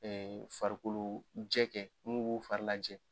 farikolo jɛ kɛ n'u b'u fari lajɛ